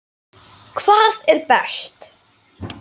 Hvað er best?